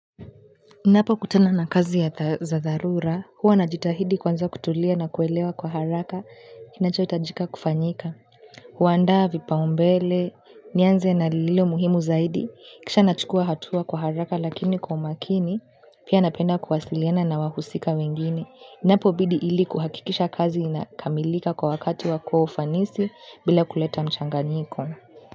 Ninapo kutana na kazi ya, za dharura, huwa najitahidi kwanza kutulia na kuelewa kwa haraka, kinacho hitajika kufanyika. Huandaa vipao mbele, nianze na lile muhimu zaidi, kisha nachukua hatua kwa haraka lakini kwa makini, pia napenda kuwasiliana na wahusika wengine. Inapo bidi ili kuhakikisha kazi inakamilika kwa wakati wako wa ufanisi bila kuleta mchanganyiko.